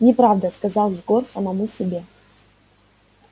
неправда сказал егор самому себе